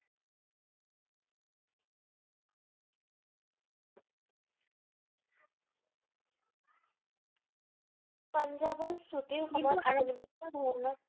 পাঞ্জাৱৰ চুটীৰ সময়ত